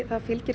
fylgir